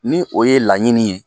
Ni o ye laɲini ye